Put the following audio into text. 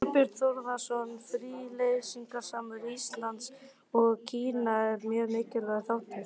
Þorbjörn Þórðarson: Fríverslunarsamningur Íslands og Kína er mjög mikilvægur þáttur?